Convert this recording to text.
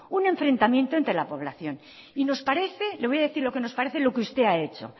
un enfrentamiento entre la población le voy a decir lo que nos parece lo que usted ha hecho